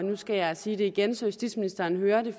nu skal jeg sige det igen så justitsministeren hører det